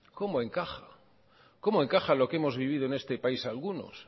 cómo encaja cómo encaja lo que hemos vivido en este país algunos